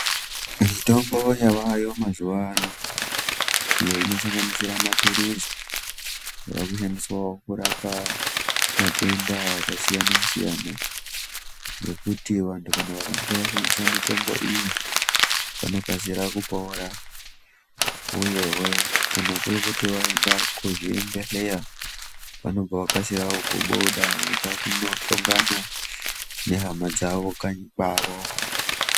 Mitombo yaveyo mazuwa ano iyo inosanganisire mapilizi yavakushandiswawo kurapa matenda akasiyanasiyana ngekuti vanhu kana vakange vashandisa mitombo iyi vanokasira kupora uyezve kana kuri kuti vaenda kuzvibhehleya vanokasika kubuda vonohlongana nehama dzavo kanyi kwavo.